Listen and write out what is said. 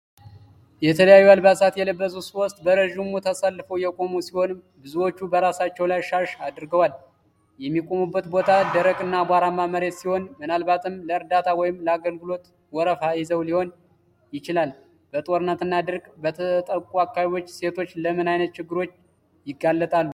የተለያዩ አልባሳት የለበሱ ሴቶች በረዥሙ ተሰልፈው የቆሙ ሲሆን፣ ብዙዎቹ በራሳቸው ላይ ሻሽ አድርገዋል። የሚቆሙበት ቦታ ደረቅና አቧራማ መሬት ሲሆን፣ ምናልባትም ለእርዳታ ወይም ለአገልግሎት ወረፋ ይዘው ሊሆን ይችላል። በጦርነትና ድርቅ በተጠቁ አካባቢዎች ሴቶች ለምን ዓይነት ችግሮች ይጋለጣሉ?